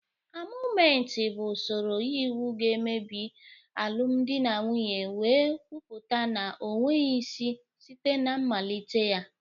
Anọlụmetị bụ usoro iwu ga-emebi alụmdi na nwunye wee kwupụta na o nweghị isi site na mmalite ya.